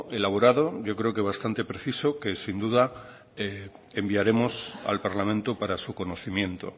elaborado yo creo que bastante preciso que sin duda enviaremos al parlamento para su conocimiento